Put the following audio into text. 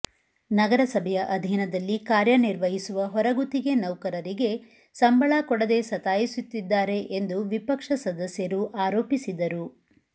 ನಗರಸಭೆಯ ಅಧೀನದಲ್ಲಿ ಕಾರ್ಯ ನಿರ್ವಹಿಸುವ ಹೊರಗುತ್ತಿಗೆ ನೌಕರರಿಗೆ ಸಂಬಳ ಕೊಡದೇ ಸತಾಯಿಸುತ್ತಿದ್ದಾರೆ ಎಂದು ವಿಪಕ್ಷ ಸದಸ್ಯರು ಆರೋಪಿಸಿದರು